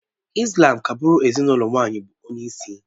Ị́slám ka-gbụ́ru ezinụlọ nwaanyị bụ onyeisi